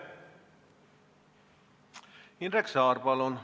Indrek Saar, palun!